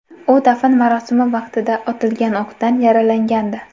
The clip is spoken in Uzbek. U dafn marosimi vaqtida otilgan o‘qdan yaralangandi.